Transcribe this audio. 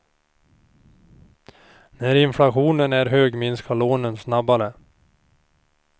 När inflationen är hög minskar lånen snabbare.